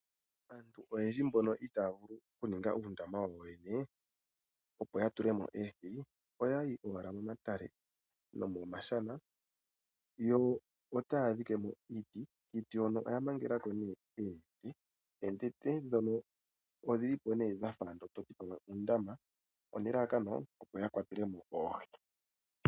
Aantu oyendji mbono itaaya vulu oku ninga uundama wayo yoyene. Opo ya tulemo oohi oyayi owala momadhiya nomomashana yo otaa dhike mo iiti. Kiiti hono oya mangela konee oonete. Oonete dhono odhili po toti odha fa uundama onelalakano opo ya kwatelemo oohi.